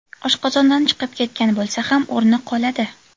Oshqozondan chiqib ketgan bo‘lsa ham, o‘rni qoladi.